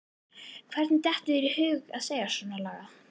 Hvernig dettur þér í hug að segja svonalagað!